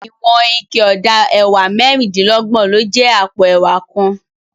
Iwòn iké òdá èwá mèrindilògbòn ló jè àpó èwá kán